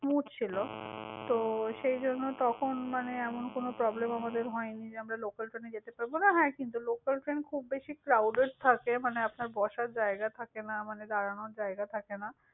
smooth ছিল। তো সেই জন্য তখন মানে এমন কোন problem আমাদের হয়নি, সে আমরা local train এ যেতে পারবনা কিন্তু হ্যাঁ, কিন্তু local train খুব বেশি crowded থাকে, মানে আপনার বসার জায়গা থাকে না, মানে দাঁড়ানোর জায়গা থাকে না।